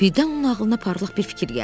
Birdən onun ağlına parlaq bir fikir gəldi.